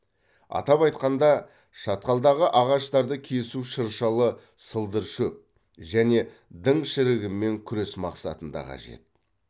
атап айтқанда шатқалдағы ағаштарды кесу шыршалы сылдыршөп және дің шірігімен күрес мақсатында қажет